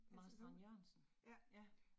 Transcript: Marstrand-Jørgensen, ja